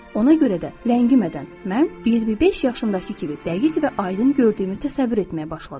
Ona görə də, ləngimədən, mən 25 yaşımdakı kimi dəqiq və aydın gördüyümü təsəvvür etməyə başladım.